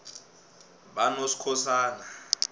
banoskhosana